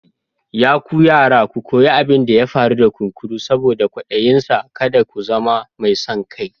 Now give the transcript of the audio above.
Ya ku yara ku koyi abin da ya faru da kunkuru saboda kwadayinsa, kada ku zama mai son kai.